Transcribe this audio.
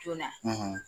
Joona